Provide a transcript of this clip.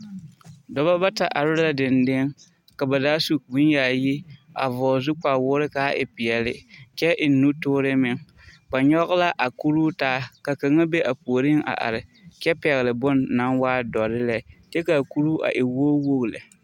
Dɔba bata are la dendeŋe, ka ba zaa su bone yaayi, a vɔgele zu kpawoore ka a e peɛle kyɛ eŋ nutoore meŋ ba nyɔge la akuruu taa kaŋa be a puoriŋ`a are kyɛ pɛgele bone na waa doɔre lɛ. kyɛ ka kuruu a e wogi wogi lɛ.